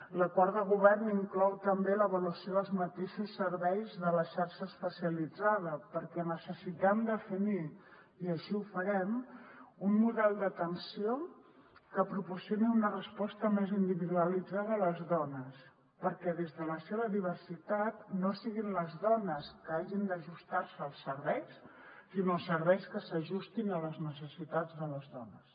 l’acord de govern inclou també l’avaluació dels mateixos serveis de la xarxa espe cialitzada perquè necessitem definir i així ho farem un model d’atenció que proporcioni una resposta més individualitzada a les dones perquè des de la seva diversitat no siguin les dones que hagin d’ajustar se als serveis sinó els serveis que s’ajustin a les necessitats de les dones